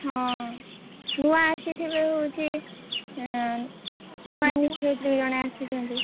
ହଁ ନୂଆ ଆସିଥିବେ ହଉଛି ଏ ନୂଆ ଶିକ୍ଷୟତ୍ରୀ ଜଣେ ଆସିଛନ୍ତି।